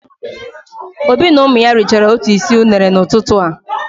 Obi na ụmụ ya richara otu isi unere n'ụtụtụ a.